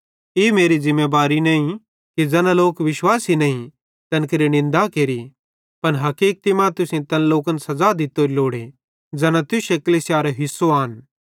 ई मेरी ज़िमेबारी नईं कि ज़ैना लोक विश्वासी नईं तैन केरि निन्दा केरि पन हकीकति मां तुसेईं तैन लोकन सज़ा दित्तोरी लोड़े ज़ैना तुश्शे कलीसियारे हिस्सो आन